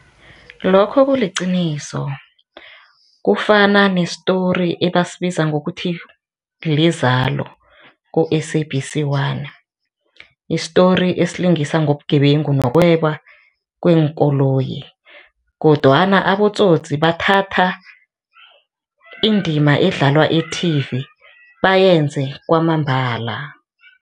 Lokho kuliqiniso kufana ne-story ebasibiza ngokuthi liZalo ku-SABC one, i-story esilingisa ngobungebengu nokweba kweenkoloyi kodwana abotsotsi bathatha indima edlalwa ethivi bayenze kwamambala.